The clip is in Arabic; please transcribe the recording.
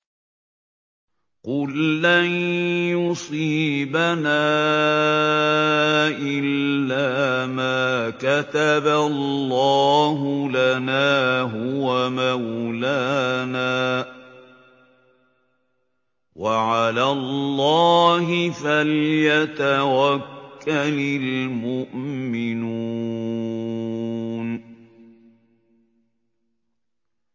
قُل لَّن يُصِيبَنَا إِلَّا مَا كَتَبَ اللَّهُ لَنَا هُوَ مَوْلَانَا ۚ وَعَلَى اللَّهِ فَلْيَتَوَكَّلِ الْمُؤْمِنُونَ